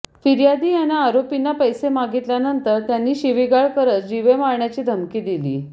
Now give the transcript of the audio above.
फिर्यादी यांना आरोपींना पैसे मागितल्यानंतर त्यांनी शिवीगाळ करत जिवे मारण्याची धमकी दिली